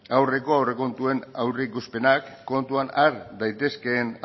aurreko aurrekontuen aurreikuspenak kontuan har daitezkeen